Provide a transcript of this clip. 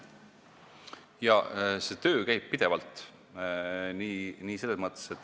Jaa, see töö käib pidevalt.